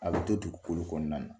A bɛ to tugukolo kɔnɔna na.